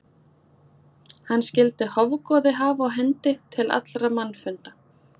Hann skyldi hofgoði hafa á hendi til allra mannfunda.